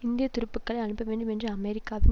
இந்திய துருப்புக்களை அனுப்ப வேண்டும் என்ற அமெரிக்காவின்